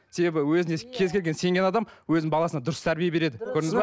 себебі өзіне кез келген сенген адам өзінің баласына дұрыс тәрбие береді көрдіңіз бе